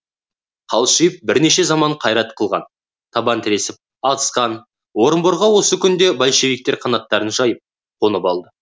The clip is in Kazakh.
қалшиып бірнеше заман қайрат қылған табан тіресіп атысқан орынборға осы күнде большевиктер қанаттарын жайып қонып алды